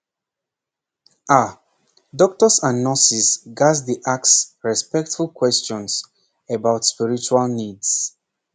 pause ah doctors and nurses ghats dey ask respectful questions about spiritual needs